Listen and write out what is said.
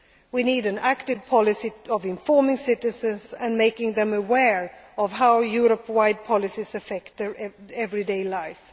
to citizens. We need an active policy of informing citizens and making them aware of how Europe wide policies affect their